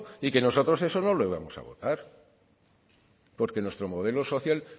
y que nosotros eso no lo íbamos a votar porque nuestro modelo social